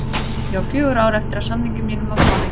Ég á fjögur ár eftir af samningi mínum á Spáni.